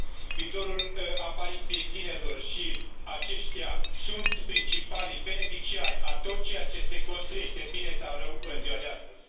Viitorul aparține tinerilor și aceștia sunt principalii beneficiari a tot ceea ce se construiește, bine sau rău, în ziua de astăzi.